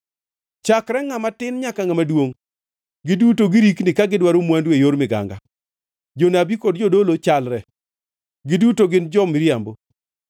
“Chakre ngʼama tin nyaka ngʼama duongʼ, giduto girikni ka gidwaro mwandu e yor miganga; jonabi kod jodolo chalre, giduto gin jo-miriambo.